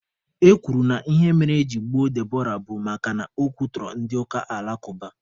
E kwuru na ihe mere eji gbuo Deborah bụ makana o kwutọrọ ndị ụka alakụba.